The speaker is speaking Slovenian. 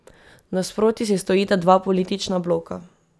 Nasproti si stojita dva politična bloka.